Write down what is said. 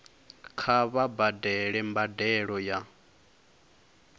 kha vha badele mbadelo ya